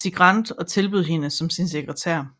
Cigrand og tilbød hende arbejde som sin sekretær